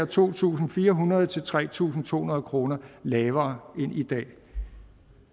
to tusind fire hundrede tre tusind to hundrede kroner lavere end i dag